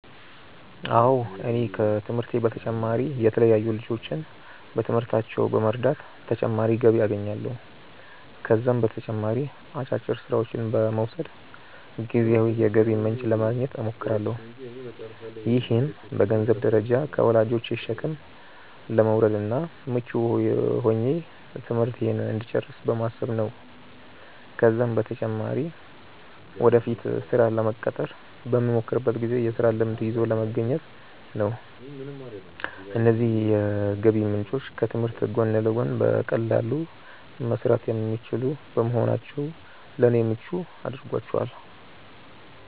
አዎ እኔ ከትምህርቴ በተጨማሪ የተለያዩ ልጆችን በትምህርታቸው በመርዳት ተጨማሪ ገቢ አገኛለሁ። ከዛም በተጨማሪ አጫጭር ስራዎችን በመውሰድ ጊዜያዊ የገቢ ምንጭ ለማግኘት እሞክራለሁ። ይህም በገንዘንብ ደረጃ ከወላጆቼ ሸክም ለመውረድ እና ምቹ ሆኜ ትምህርቴን እንድጨርስ በማሰብ ነው ነው። ከዛም በተጨማሪ ወደፊት ስራ ለመቀጠር በመሞክርበት ጊዜ የስራ ልምድ ይዞ ለመገኘት ነው። እነዚህ የገቢ ምንጮች ከትምህርት ጎን ለጎን በቀላሉ መሰራት የሚችሉ በመሆናቸው ለኔ ምቹ አድርጓቸዋል።